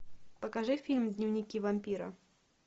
покажи фильм дневники вампира